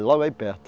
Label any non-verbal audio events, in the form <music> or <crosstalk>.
<unintelligible> logo aí perto.